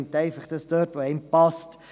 Man nimmt einfach, was einem passt.